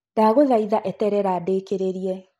Ndagũthaitha eterera ndĩkĩrĩrie.